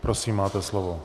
Prosím, máte slovo.